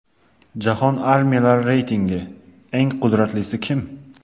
Jahon armiyalari reytingi: Eng qudratlisi kim?.